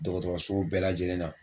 Dɔgɔtɔrɔsow bɛɛ lajɛlen na